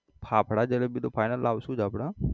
ફાફડા જલેબી તો final લાવસુ જ આપડે.